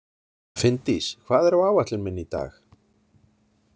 Finndís, hvað er á áætlun minni í dag?